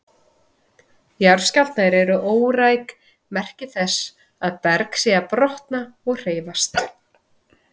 Jarðskjálftar eru óræk merki þess að berg sé að brotna og hreyfast.